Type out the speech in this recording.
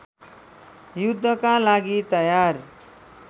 युद्धका लागि तयार